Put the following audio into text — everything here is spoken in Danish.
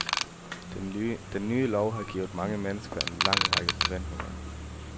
Den nye lov har givet mange mennekser en lang række forventninger.